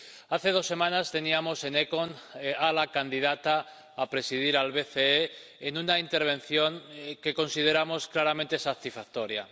Hace dos semanas teníamos en la Comisión ECON a la candidata a presidir el BCE, en una intervención que consideramos claramente satisfactoria.